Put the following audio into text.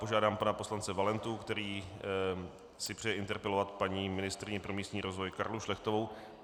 Požádám pana poslance Valentu, který si přeje interpelovat paní ministryni pro místní rozvoj Karlu Šlechtovou.